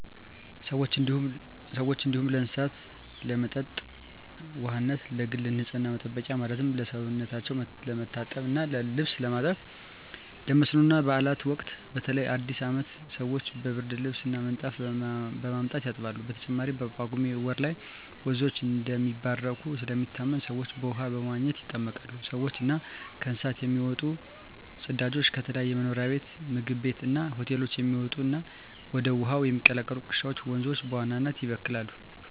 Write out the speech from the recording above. ለሰዎች እንዲሁም ለእስሳት ለመጠጥ ውሃነት፣ ለግል ንፅህና መጠበቂያ ማለትም ሰውነታቸው ለመታጠብ እና ልብስ ለማጠብ፣ ለመስኖ እና ባእላት ወቅት በተለይ በአዲስ አመት ሰወች ብርድልብስ እና ምንጣፍ በማምጣት ያጥባሉ። በተጨማሪም በጳጉሜ ወር ላይ ወንዞች እንደሚባረኩ ስለሚታመን ሰወች በውሃው በመዋኘት ይጠመቃሉ። ከሰውች እና ከእንስሳት የሚወጡ ፅዳጆች፣ ከተለያዩ መኖሪያ ቤት ምግብ ቤት እና ሆቴሎች የሚወጡ እና ወደ ውሀው የሚቀላቀሉ ቆሻሻወች ወንዞችን በዋናነት ይበክላሉ።